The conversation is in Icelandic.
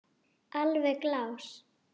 Alveg glás.